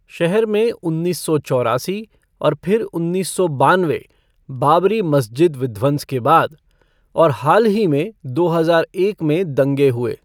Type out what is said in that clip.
शहर में उन्नीस सौ चौरासी और फिर उन्नीस सौ बानवे बाबरी मस्जिद विध्वंस के बाद और हाल ही में दो हजार एक में दंगे हुए।